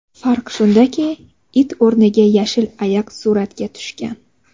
Farq shundaki, it o‘rniga yashil ayiq suratga tushgan.